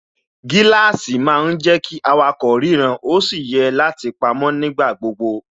Gíláàsì má ń jẹ́ kí awakọ̀ ríran ó sì yẹ láti pamó nígbà gbogbo